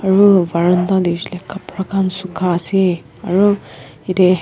aru baranda dikhisale kapra khan sukha ase aru yate--